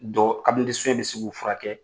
bɛ se k'u furakɛ